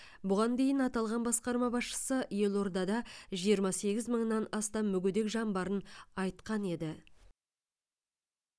бұған дейін аталған басқарма басшысы елордада жиырма сегіз мыңнан астам мүгедек жан барын айтқан еді